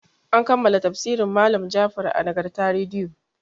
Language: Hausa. An kammala tafsirin malam Jafar a Nagarta rediyo.